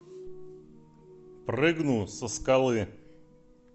прыгну со скалы